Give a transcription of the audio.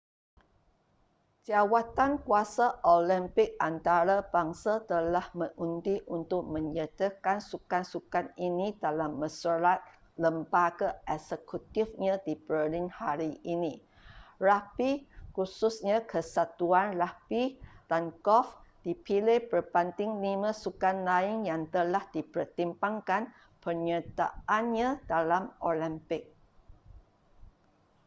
jawatankuasa olimpik antarabangsa telah mengundi untuk menyertakan sukan-sukan ini dalam mesyuarat lembaga eksekutifnya di berlin hari ini ragbi khususnya kesatuan ragbi dan golf dipilih berbanding lima sukan lain yang telah dipertimbangkan penyertaannya dalam olimpik